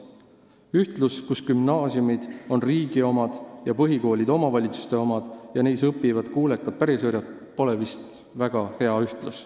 Ühtlus, kus gümnaasiumid on riigi omad ja põhikoolid omavalitsuste omad ning neis õpivad kuulekad pärisorjad, pole vist väga hea.